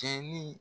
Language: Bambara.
Cɛ ni